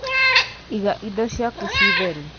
Iga indo ciaku ci theru.